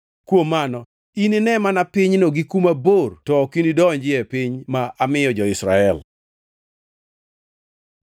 Kuom mano, inine mana pinyno gi kuma bor ok inidonjie e piny ma amiyo jo-Israel.”